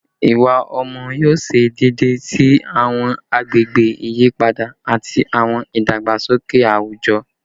Iwa ọmọ yoo ṣe deede si awọn agbegbe iyipada ati awọn idagbasoke awujọ